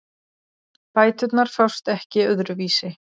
Bæturnar fást ekki öðruvísi